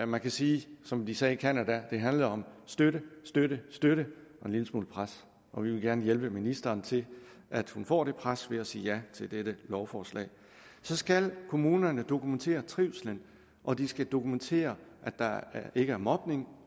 man kan sige som de sagde i canada at det handler om støtte støtte støtte og en lille smule pres og vi vil gerne hjælpe ministeren til at hun får den pres ved at sige ja til dette lovforslag så skal kommunerne dokumentere trivslen og de skal dokumentere at der ikke er mobning